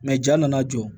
ja nana jɔ